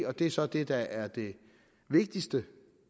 og det er så det der er det vigtigste